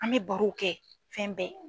An mɛ baro kɛ fɛn bɛɛ.